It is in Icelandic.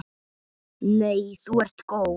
Nei þú ert góð.